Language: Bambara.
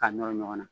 K'a nɔrɔ ɲɔgɔn na